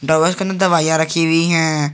के अंदर दवाइयां रखी हुई हैं।